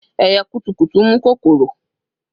Ẹyẹ kutukutu mu kokoro